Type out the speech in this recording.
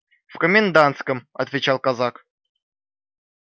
в комендантском отвечал казак